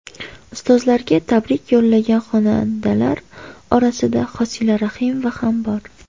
Ustozlarga tabrik yo‘llagan xonandalar orasida Hosila Rahimova ham bor.